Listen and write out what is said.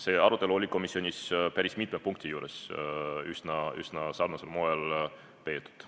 Seda arutelu peeti komisjonis päris mitme punkti juures üsna sarnasel moel.